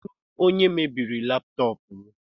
Kedu onye mebiri laptọọpụ m?